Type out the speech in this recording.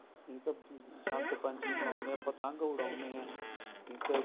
ਠੀਕ ਏ ਜੀ ਬਸੰਤ ਪੰਚਮੀ ਮਨਾਉਂਦੇ ਏ ਪਤੰਗ ਉਡਾਉਂਦੇ ਏ ਠੀਕ ਏ ਜੀ